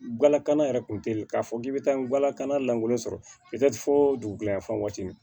Galakanna yɛrɛ kun teyi k'a fɔ k'i be taa nwala kana lankolon sɔrɔ fo dugu gilafan waati